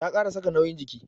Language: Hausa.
Ta kara saka nauyin jiki.